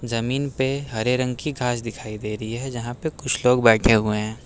जमीन पे हरे रंग की घास दिखाई दे रही है जहां पे कुछ लोग बैठे हुए हैं।